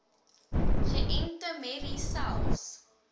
geënte merries selfs